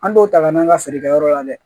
An t'o ta ka n'an ka feerekɛyɔrɔ la dɛ